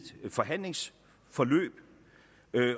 forhandlingsforløb